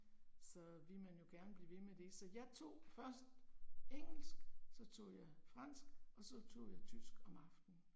Så vil man jo gerne blive ved med det, så jeg tog først engelsk, så tog jeg fransk og så tog jeg tysk om aftenen